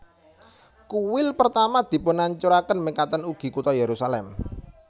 Kuil Pertama dipunhancuraken mekaten ugi kota Yerusalem